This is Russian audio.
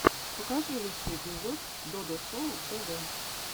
покажи лучший эпизод додо шоу тв